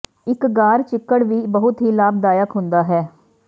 ਇੱਕ ਗਾਰ ਚਿੱਕੜ ਵੀ ਬਹੁਤ ਹੀ ਲਾਭਦਾਇਕ ਹੁੰਦਾ ਹੈ